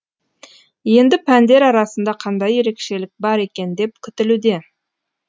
енді пәндер арасында қандай ерекшелік бар екен деп күтілуде